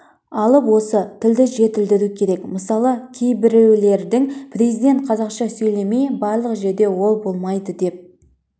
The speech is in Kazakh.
алып осы тілді жетілдіру керек мысалы кейбіреулердің президент қазақша сөйлемей барлық жерде ол болмайды деп